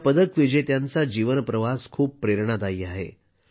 या पदकविजेत्यांचा जीवन प्रवास खूप प्रेरणादायी आहे